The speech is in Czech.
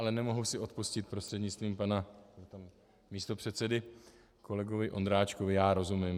Ale nemohu si odpustit, prostřednictvím pana místopředsedy - kolegovi Ondráčkovi já rozumím.